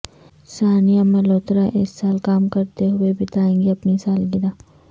سانیا ملہوترا اس سال کام کرتے ہوئے بتائےگی اپنی سالگرہ